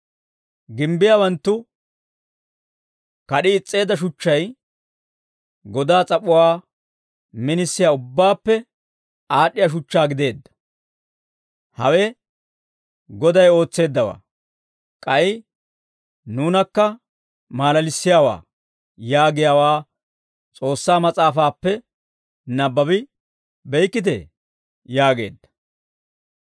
« ‹Gimbbiyaawanttu kad'i is's'eedda shuchchay godaa s'ap'uwaa minisiyaa, ubbaappe aad'd'iyaa shuchchaa gideedda. Hawe Goday ootseeddawaa; k'ay nuunakka maalalissiyaawaa› yaagiyaawaa S'oossaa mas'aafaappe nabbabi beykkitee?» yaageedda.